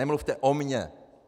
Nemluvte o mě!